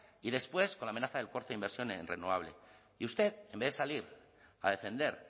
y después con la amenaza del corte de inversión en renovable y usted en vez de salir a defender